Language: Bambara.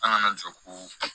An kana jɔ ko